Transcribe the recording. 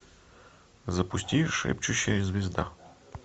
запусти шепчущая звезда